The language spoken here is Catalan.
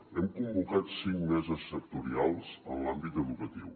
hem convocat cinc meses sectorials en l’àmbit educatiu